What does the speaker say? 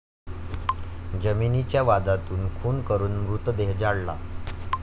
जमिनीच्या वादातून खून करून मृतदेह जाळला